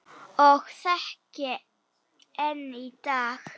Og þekki enn í dag.